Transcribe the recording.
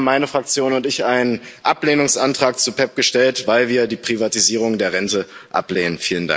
Und deshalb haben meine Fraktion und ich einen Ablehnungsantrag zu PEPP gestellt, weil wir die Privatisierung der Rente ablehnen.